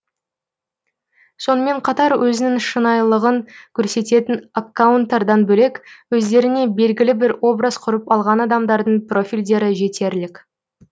сонымен қатар өзінің шынайылығын көрсететін аккаунтардан бөлек өздеріне белгілі бір образ құрып алған адамдардың профильдері жетерлік